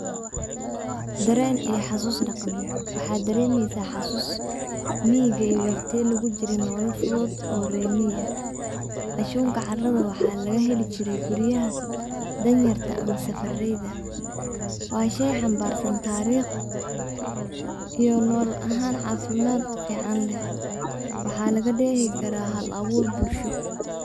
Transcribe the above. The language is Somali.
Dareen iyo xasus dhaqameed, waxad dareemeysa xasuus miyiga iyo waqtiya lugu jire nolol fudud oo rer miyi ah, anshuka caarada waxa laga heli jire guriyaha Dan yarta ah ama safareyda, waa shey xambarsan taariq iyo nolol ahan caafimad fican leh, waxa laga dheehi karaa hal abuur bulsho